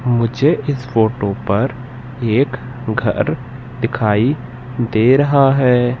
मुझे इस फोटो पर एक घर दिखाई दे रहा है।